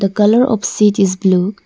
The colour of seat is blue.